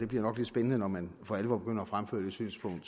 bliver nok lidt spændende når man for alvor begynder at fremføre det synspunkt